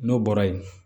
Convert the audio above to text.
N'o bɔra yen